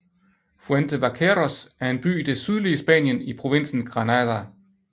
Fuente Vaqueros er en by i det sydlige Spanien i provinsen Granada